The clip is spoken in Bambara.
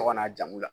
Tɔgɔ n'a jamu la